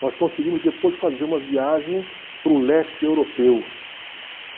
Nós conseguimos depois fazer uma viagem para o leste europeu.